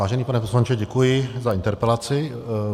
Vážený pane poslanče, děkuji za interpelaci.